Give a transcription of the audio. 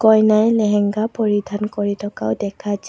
কইনাই লেহেংগা পৰিধান কৰি থকাও দেখা যা--